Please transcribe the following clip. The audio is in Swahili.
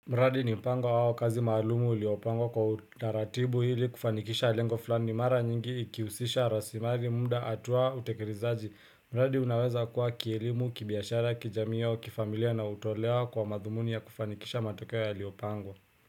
Mradi ni mpango wao kazi maalumu uliopango kwa utaratibu hili kufanikisha lengo fulani mara nyingi ikihusisha rasimari munda hatuwa utekerezaji. Mradi unaweza kuwa kielimu, kibiashara, kijamiyo, kifamilia na utolewa kwa madhumuni ya kufanikisha matokeo ya liopangwa.